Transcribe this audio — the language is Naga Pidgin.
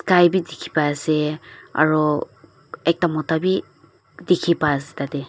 sky bi dikhi pai se aro ekta mota wi dikhi pa se tatey.